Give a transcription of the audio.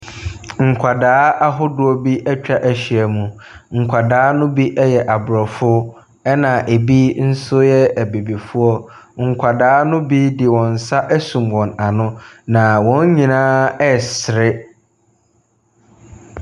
Nkwadaa ahodoɔ bi atwa ahyia mu. Nkwadaa ne bi yɛ aborɔfo na bi nso yɛ abibifoɔ. Nkwadaa no dede wɔn nsa asum wɔn ano na wɔn nyinaa ɛresere.